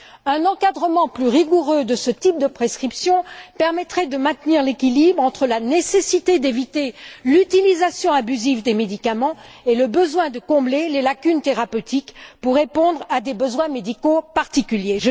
Un encadrement plus rigoureux de ce type de prescriptions permettrait de maintenir l'équilibre entre la nécessité d'éviter l'utilisation abusive des médicaments et le besoin de combler les lacunes thérapeutiques pour répondre à des besoins médicaux particuliers.